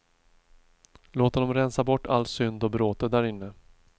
Låt honom rensa bort all synd och bråte där inne.